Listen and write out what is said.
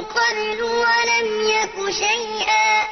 قَبْلُ وَلَمْ يَكُ شَيْئًا